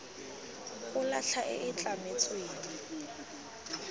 go latlha e e tlametsweng